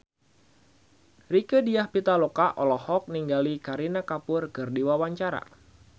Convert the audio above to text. Rieke Diah Pitaloka olohok ningali Kareena Kapoor keur diwawancara